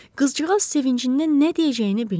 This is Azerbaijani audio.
Qızcığaz sevincindən nə deyəcəyini bilmədi.